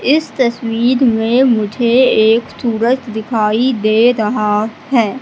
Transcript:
इस तस्वीर में मुझे एक सूरज दिखाई दे रहा है।